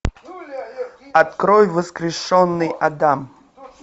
открой воскрешенный адам